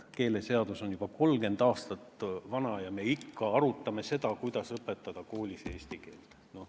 Keeleseadus on juba 30 aastat vana, aga me ikka arutame, kuidas õpetada koolis eesti keelt.